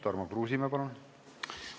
Tarmo Kruusimäe, palun!